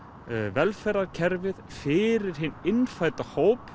velferðarkerfið fyrir hinn innfædda hóp